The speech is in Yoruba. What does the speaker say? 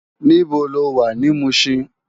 Nibó ló wá ni Mushin?